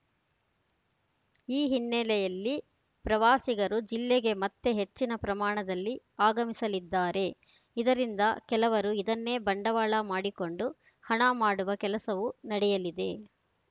ಈ ಹಿನ್ನೆಲೆಯಲ್ಲಿ ಪ್ರವಾಸಿಗರು ಜಿಲ್ಲೆಗೆ ಮತ್ತೆ ಹೆಚ್ಚಿನ ಪ್ರಮಾಣದಲ್ಲಿ ಆಗಮಿಸಲಿದ್ದಾರೆ ಇದರಿಂದ ಕೆಲವರು ಇದನ್ನೇ ಬಂಡವಾಳ ಮಾಡಿಕೊಂಡು ಹಣ ಮಾಡುವ ಕೆಲಸವೂ ನಡೆಯಲಿದೆ